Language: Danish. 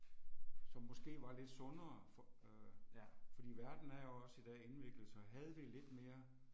Som måske var lidt sundere for øh fordi verden er jo også i dag indviklet, så havde vi lidt mere